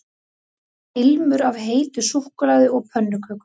Það var ilmur af heitu súkkulaði og pönnukökum